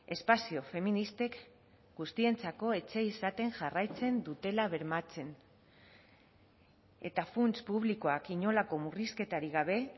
espazio feministek guztientzako etxea izaten jarraitzen dutela bermatzen eta funts publikoak inolako murrizketarik gabe